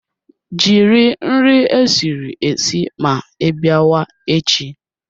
Jiri nri esiri esi ma ịbịa wa echi